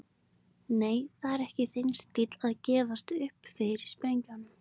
Nei, það er ekki þinn stíll að gefast upp fyrir sprengjum.